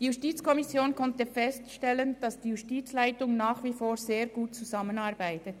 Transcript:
Die JuKo konnte feststellen, dass die Justizleitung nach wie vor sehr gut zusammenarbeitet.